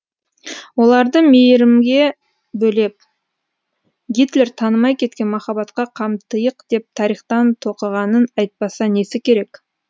оларды мейрімге бөлеп гитлер танымай кеткен махаббатқа қамтыйық деп тарихтан тоқығанын айтпаса несі керек